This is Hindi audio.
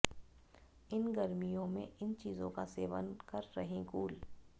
इन गर्मियों में इन चीजों का सेवन कर रहे कूल